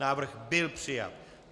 Návrh nebyl přijat.